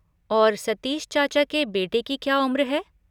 और सतीश चाचा के बेटे की क्या उम्र है?